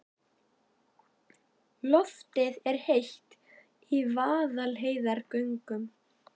Loftið er heitt í Vaðlaheiðargöngum.